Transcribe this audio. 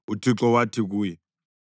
uThixo wathi kuye,